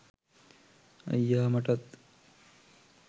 අයියා මටත්